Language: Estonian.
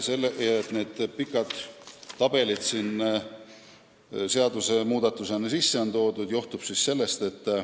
See, et need pikad tabelid on seaduse muudatusena sisse toodud, johtub siis sellest.